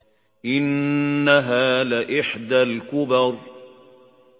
إِنَّهَا لَإِحْدَى الْكُبَرِ